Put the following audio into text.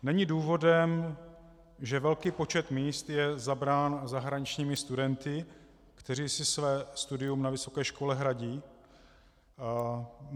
Není důvodem, že velký počet míst je zabrán zahraničními studenty, kteří si své studium na vysoké škole hradí?